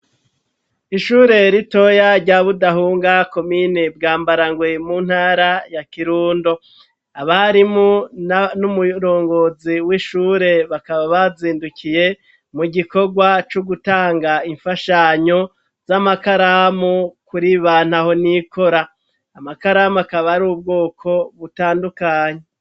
Ishure ritoya rya budahunga komine bwambarangwe mu ntara ya kirundo, abarimu n'umurongozi w'ishure bakaba bazindukiye mu gikorwa c'ugutanga imfashanyo z'amakaramu kuri banta honikora, amakaramu bakaba ari ubwoko butandukanyi.